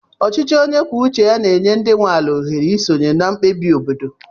Ọchịchị onye kwuo uche ya na-enye ndị nwe ala ohere isonye na mkpebi obodo.